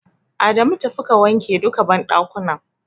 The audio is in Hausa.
Adamu tafi ka wanke duka banɗakunan.